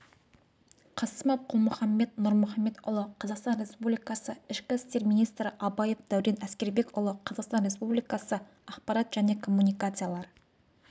қасымов қалмұханбет нұрмұханбетұлы қазақстан республикасы ішкі істер министрі абаев дәурен әскербекұлы қазақстан республикасы ақпарат және коммуникациялар